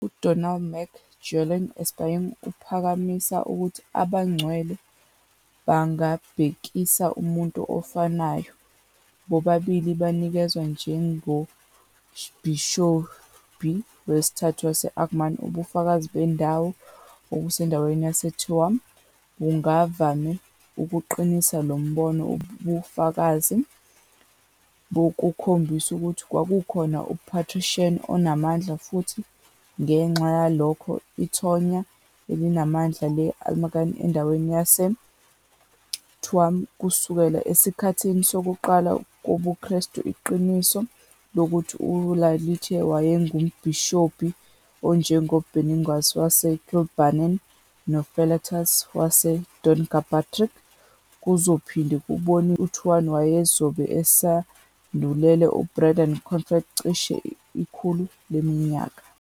UDónall Mac Giolla Easpaig uphakamisa ukuthi abangcwele bangabhekisa kumuntu ofanayo- bobabili banikezwa njengombhishobhi wesithathu wase- Armagh ubufakazi bendawo obusendaweni yaseTuam bungavame ukuqinisa lo mbono ubufakazi bukhombisa ukuthi kwakukhona uPatrician onamandla futhi, ngenxa yalokho, ithonya elinamandla le-Armagh endaweni yaseTuam kusukela esikhathini sokuqala kobuKristu iqiniso lokuthi u-Iarlaithe wayengumbhishobhi onjengoBenignus waseKilbennan noFelartus waseDonaghpatrick, kuzophinde kubonise ukuthi uTuam wayezobe esandulele uBrendan Clonfert cishe ikhulu leminyaka.